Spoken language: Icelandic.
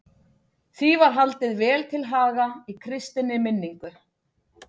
Því var haldið vel til haga í kristinni minningu.